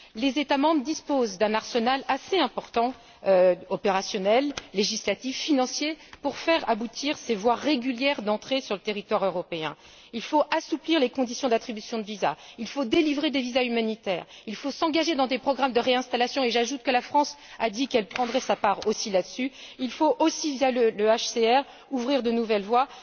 Les États membres disposent d'un arsenal assez important, opérationnel, législatif, financier, pour faire aboutir ces voies régulières d'entrée sur le territoire européen. Il faut assouplir les conditions d'attribution de visas, il faut délivrer des visas humanitaires, il faut s'engager dans des programmes de réinstallation. J'ajoute que la France a dit qu'elle prendrait également sa part dans ce processus. Il faut aussi, via le HCR, ouvrir de nouvelles voies.